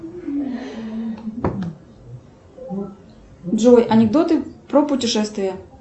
джой анекдоты про путешествия